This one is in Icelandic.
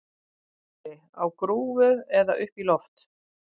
SKÚLI: Á grúfu eða upp í loft?